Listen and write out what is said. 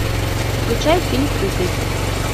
включай фильм прыгай